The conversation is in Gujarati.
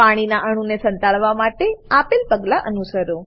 પાણીના અણુ ને સંતાડવા માટે આપેલ પગલા અનુસરો